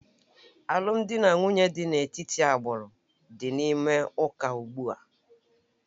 Alụmdi na nwunye dị n'etiti agbụrụ dị n'ime ụka ugbu a